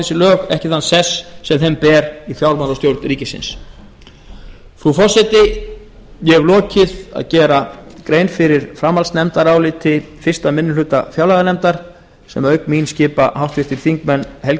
þessi lög ekki þann sess sem þeim ber við fjármálastjórn ríkisins frú forseti ég hef lokið að gera grein fyrir framhaldsnefndaráliti fyrsti minni hluta fjárlaganefndar sem auk mín skipa háttvirtir þingmenn helgi